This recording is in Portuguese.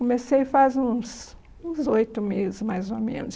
Comecei faz uns oito meses, mais ou menos.